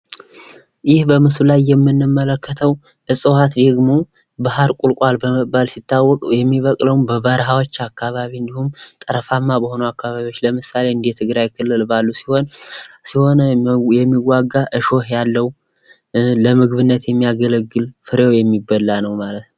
እዚህ በምስሉ ላይ የምንመለከተው ደግሞ ባህር ቁልቋል በመባል ሲታወቅ። የሚበቅለውም በበረሀዎች አካባቢ እንዲሁም ጠረፋማ አካባቢዎች ለምሳሌ እንደ ትግራይ ክልል ባሉ ሲሆን የሚዋጋ እሾህ ያለው ለምግብነት የሚያገለግል ፍሬው የሚበላ ነው ማለት ነው።